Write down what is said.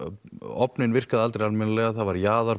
ofninn virkaði aldrei almennilega það var